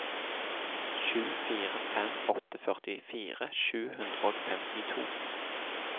sju fire fem åtte førtifire sju hundre og femtito